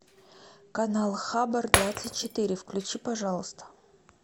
канал хабр двадцать четыре включи пожалуйста